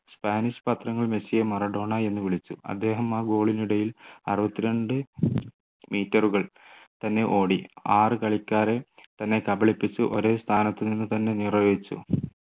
Spanish പത്രങ്ങൾ മെസ്സിയെ Maradona എന്ന് വിളിച്ചു അദ്ദേഹം ആ goal നിടയിൽ അറുപത്തിരണ്ട്‍ meter കൾ തന്നെ ഓടി ആറ് കളിക്കാരെ തന്നെ കബളിപ്പിച്ചു ഒരെ സ്ഥാനത്ത് നിന്ന് തന്നെ നിർവഹിച്ചു